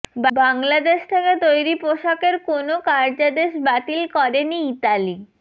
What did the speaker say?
বাংলাদেশ থেকে তৈরি পোশাকের কোন কার্যাদেশ বাতিল করেনি ইতালি